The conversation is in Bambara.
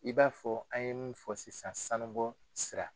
I b'a fɔ an ye mun fɔ sisan sanubɔ sira